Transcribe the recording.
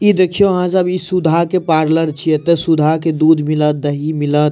ई देखिये यहाँ सब ई सुधा के पार्लर छे त सुधा के दूध मिलत दही मिलत।